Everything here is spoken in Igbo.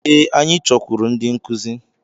Ee, anyị chọkwuru ndị nkuzi.